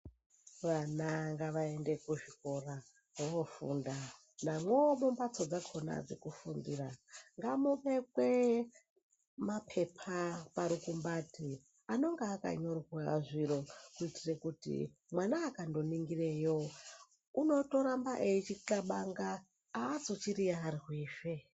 Vana ngavaende kuzvikora vanofunda, namwo mumbatso dzekufundira ngamubekwe mapepa parukumbati anonga akanyorwa zviro kuitira kuti mwana akandoningireyo unotoramba eichixabanga aazochiyiyarwi zvee.